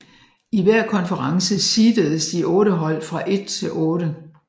I hver konference seededes de otte hold fra 1 til 8